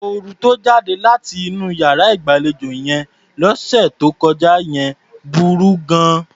Òórùn tó jáde láti inú iyàrá ìgbàlejò yẹn lọ́sẹ̀ tó kọjá yẹn burú gan-an.